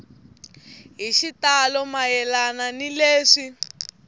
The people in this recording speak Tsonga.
hi xitalo mayelana ni leswi